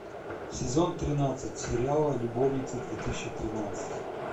сезон тринадцать сериала любовницы две тысячи тринадцать